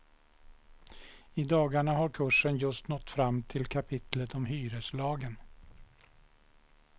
I dagarna har kursen just nått fram till kapitlet om hyreslagen.